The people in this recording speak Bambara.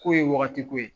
K'o ye wagati ko ye